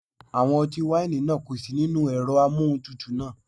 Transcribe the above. Àwọn ọtí wáìnì náà kò sí nínú ẹ̀rọ amóhuntutù náà.